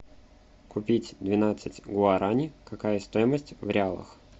купить двенадцать гуарани какая стоимость в реалах